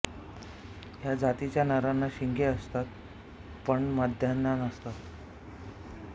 या जातीच्या नरांना शिंगे असतात पण माद्यांना नसतात